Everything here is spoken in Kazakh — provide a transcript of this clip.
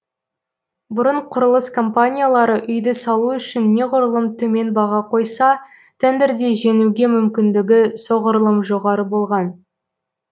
бұрын құрылыс компаниялары үйді салу үшін неғұрлым төмен баға қойса тендерде жеңуге мүмкіндігі соғұрлым жоғары болған